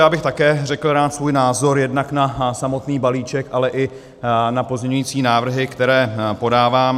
Já bych také řekl rád svůj názor jednak na samotný balíček, ale i na pozměňující návrhy, které podávám.